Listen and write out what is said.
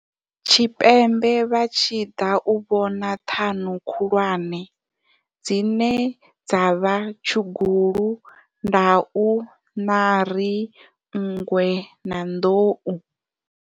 Tshipembe vha tshi ḓa u vhona ṱhanu khulwane, dzine dza vha tshugulu, ndau, ṋari, nngwe na nḓou.